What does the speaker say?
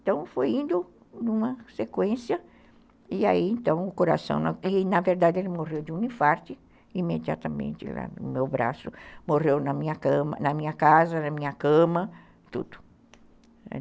Então foi indo numa sequência, e aí então o coração, e na verdade ele morreu de um infarte, imediatamente lá no meu braço, morreu na minha casa, na minha cama, tudo.